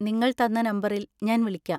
നിങ്ങൾ തന്ന നമ്പറിൽ ഞാൻ വിളിക്കാം.